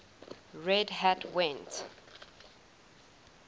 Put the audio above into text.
red hat went